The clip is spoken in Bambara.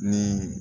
Ni